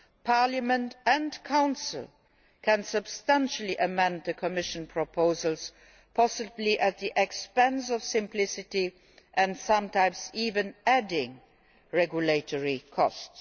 Parliament and the Council can substantially amend the Commission proposals, possibly at the expense of simplicity and sometimes even adding regulatory costs.